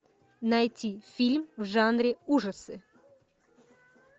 найти фильм в жанре ужасы